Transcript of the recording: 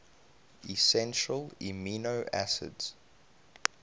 essential amino acids